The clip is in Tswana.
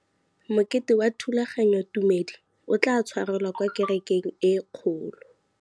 Mokete wa thulaganyôtumêdi o tla tshwarelwa kwa kerekeng e kgolo.